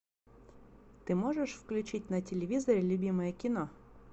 ты можешь включить на телевизоре любимое кино